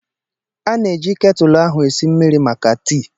A na-eji ketulu ahụ esi mmiri maka tii.